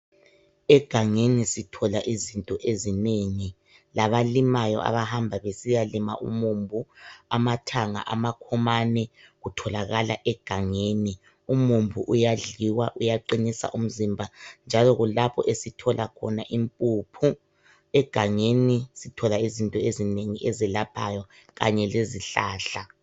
Egangeni sithola izinto ezinengi labalimayo abahamba besiyalima umumbu, amathanga, amakhomane kutholakala egangeni. Umumbu uyadliwa, uqinisa umzimba njalo kulapho esithola khona impuphu. Egangeni sithola izinto ezinengi ezelaphayo kanye lezihlahla.